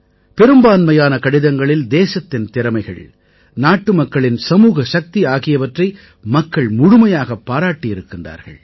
பெரும்பான்மையான கடிதங்களில் தேசத்தின் திறமைகள் நாட்டுமக்களின் சமூக சக்தி ஆகியவற்றை மக்கள் முழுமையாகப் பாராட்டி இருக்கின்றார்கள்